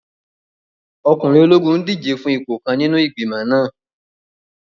Ọkùnrin ológun n díje fún ipò kan nínú igbimọ̀ náà